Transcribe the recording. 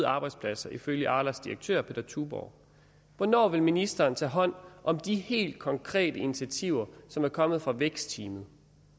arbejdspladser ifølge arlas direktør peder tuborgh hvornår vil ministeren tage hånd om de helt konkrete initiativer som er kommet fra vækstteamet